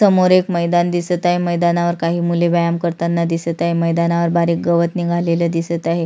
समोर एक मैदान दिसत आहे मैदानावर काही मूल व्यायाम करताना दिसत आहे मैदानावर बारीक गवत निघालेल दिसत आहे.